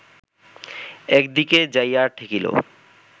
একদিকে যাইয়া ঠেকিল